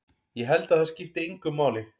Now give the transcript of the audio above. Ég held að það skipti engu máli.